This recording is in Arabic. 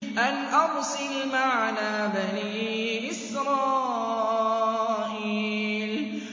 أَنْ أَرْسِلْ مَعَنَا بَنِي إِسْرَائِيلَ